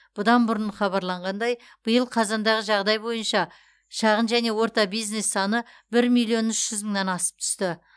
бұдан бұрын хабарланғандай биыл қазандағы жағдай бойынша шағын және орта бизнес саны бір миллион үш жүз мыңнан асып түсті